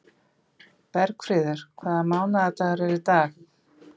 Bergfríður, hvaða mánaðardagur er í dag?